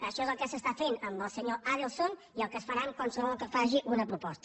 això és el que s’està fent amb el senyor adelson i el que es farà amb qualsevol que faci una proposta